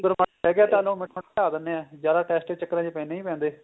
sugar ਮਾੜੀ ਹੈਗੀ ਏ ਤਾਂ ਉਹਨੂੰ ਜਿਆਦਾ test ਦੇ ਚਕਰਾ ਚ ਨਹੀਂ ਪੈਂਦੇ